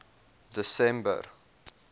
desember